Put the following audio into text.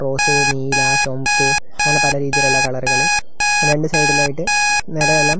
rose നീലാ ചൊംപ്പ് അങ്ങനെ പലരീതിയിലുള്ള കളറുകള് രണ്ട് സൈഡിലയിട്ടു നെറയെല്ലാം--